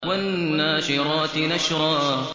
وَالنَّاشِرَاتِ نَشْرًا